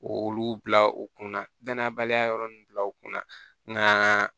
Olu bila u kunna danaya baliya yɔrɔ ninnu bila u kunna nka